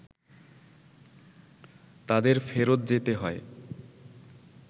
তাদের ফেরত যেতে হয়